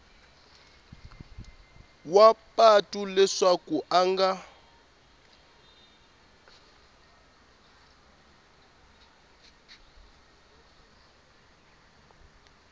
wa patu leswaku a nga